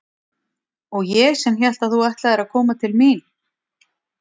Og ég sem hélt að þú ætlaðir að koma til mín.